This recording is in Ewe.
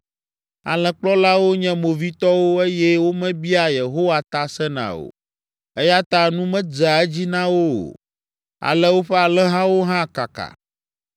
Alẽkplɔlawo nye movitɔwo eye womebiaa Yehowa ta sena o, eya ta nu medzea edzi na wo o. Ale woƒe alẽhawo hã kaka.